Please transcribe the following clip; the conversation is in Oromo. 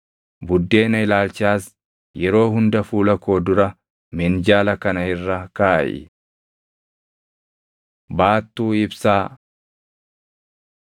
Buddeena ilaalchaas yeroo hunda fuula koo dura minjaala kana irra kaaʼi. Baattuu Ibsaa 25:31‑39 kwf – Bau 37:17‑24